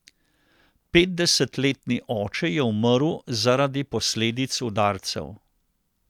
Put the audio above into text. Petdesetletni oče je umrl zaradi posledic udarcev.